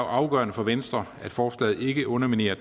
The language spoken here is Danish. afgørende for venstre at forslaget ikke underminerer